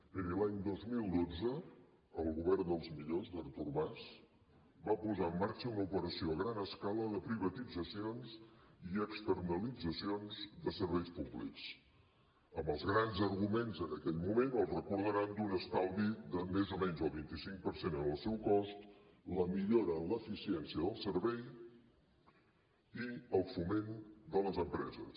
miri l’any dos mil dotze el govern dels millors d’artur mas va posar en marxa una operació a gran escala de privatitzacions i externalitzacions de serveis públics amb els grans arguments en aquell moment els deuen recordar d’un estalvi de més o menys el vint cinc per cent en el seu cost la millora en l’eficiència del servei i el foment de les empreses